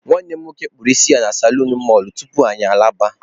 Nwanne m nwoke kpụrụ isi na salonu mọlụ tupu anyị alaba.